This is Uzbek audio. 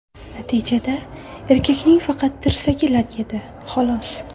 Natijada erkakning faqat tirsagi lat yedi, xolos.